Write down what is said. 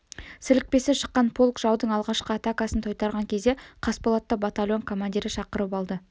сілекпесі шыққан полк жаудың алғашқы атакасын тойтарған кезде қасболатты батальон командирі шақырып алды